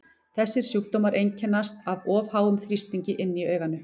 Þessir sjúkdómar einkennast af of háum þrýstingi inni í auganu.